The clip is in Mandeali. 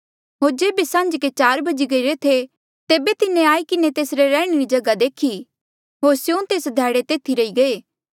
होर जेबे सांझ्के चार बजी गईरे थे तेबे तिन्हें आई किन्हें तेसरे रैहणे री जगहा देखी होर स्यों तेस ध्याड़े तेथी रही गये